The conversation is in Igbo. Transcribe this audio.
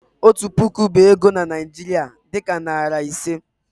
otu puku bụ ego ego na Nigeria, dị ka narị ise.